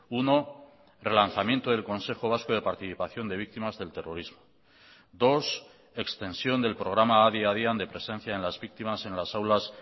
uno relanzamiento del consejo vasco de participación de víctimas del terrorismo dos extensión del programa adi adian de presencia en las víctimas en las aulas